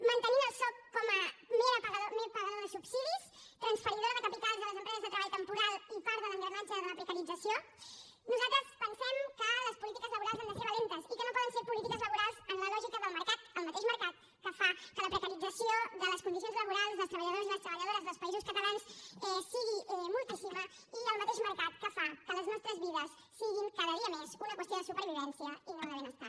mantenint el soc com a mer pagador de subsidis transferidor de capitals a les empreses de treball temporal i part de l’engranatge de la precarització nosaltres pensem que les polítiques laborals han de ser valentes i que no poden ser polítiques laborals en la lògica del mercat el mateix mercat que fa que la precarització de les condicions laborals dels treballadors i les treballadores dels països catalans sigui moltíssima i el mateix mercat que fa que les nostres vides siguin cada dia més una qüestió de supervivència i no de benestar